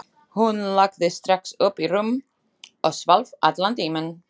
Hún lagðist strax upp í rúm og svaf allan tímann.